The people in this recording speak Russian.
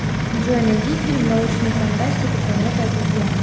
джой найди фильм научную фантастику планета обезьян